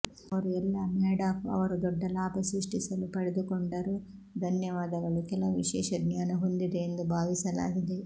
ಅವರು ಎಲ್ಲಾ ಮ್ಯಾಡಾಫ್ ಅವರು ದೊಡ್ಡ ಲಾಭ ಸೃಷ್ಟಿಸಲು ಪಡೆದುಕೊಂಡರು ಧನ್ಯವಾದಗಳು ಕೆಲವು ವಿಶೇಷ ಜ್ಞಾನ ಹೊಂದಿದೆ ಎಂದು ಭಾವಿಸಲಾಗಿದೆ